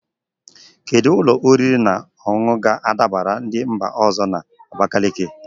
Kedu ụlọ oriri na ọṅụṅụ ga-adabara ndị mba ọzọ na Abakaliki?